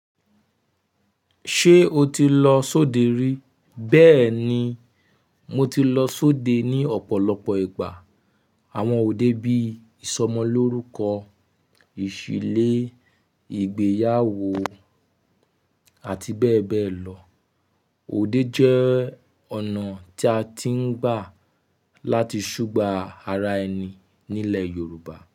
Ṣé o ti lọ sóde rí? Bẹ́ẹ̀ ni, mo ti lọ sóde ní ọ̀pọ̀lọpọ̀ ìgbà. Àwọn ọ̀de bí i ìsọmọlórúkọ, ìṣílé, ìgbéyàwó àti bẹ́ẹ̀ bẹ́ẹ̀ lọ. Ọ̀de jẹ́ ọ̀nà tí a ti ń gbà láti ṣúgbà ara ẹni nílẹ̀ Yorùbá.